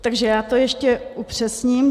Takže já to ještě upřesním.